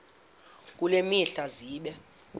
kule mihla zibe